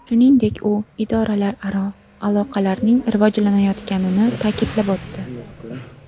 Shuningdek, u idoralararo aloqalarning rivojlanayotganini ta’kidlab o‘tdi.